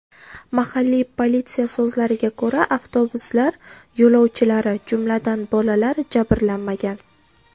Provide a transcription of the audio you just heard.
Mahalliy politsiya so‘zlariga ko‘ra, avtobuslar yo‘lovchilari, jumladan, bolalar, jabrlanmagan.